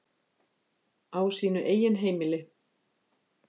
Á sínu eigin heimili.